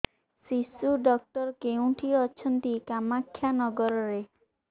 ଶିଶୁ ଡକ୍ଟର କୋଉଠି ଅଛନ୍ତି କାମାକ୍ଷାନଗରରେ